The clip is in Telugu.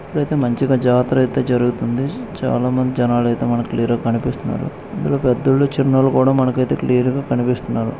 ఇక్కడైతే మంచిగా జాతర అయితే జరుగుతుంది. చాలామంది జనాలు అయితే మనకి క్లియర్ గా కనిపిస్తున్నారు. ఇక్కడ మనకి పెద్దోళ్ళు చిన్నోళ్ళు కూడా మనకైతే క్లియర్ గా కనిపిస్తున్నారు.